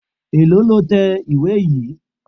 Èlòó lo tẹ ìwé yìí?